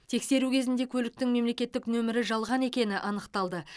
тексеру кезінде көліктің мемлекеттік нөмірі жалған екені анықталды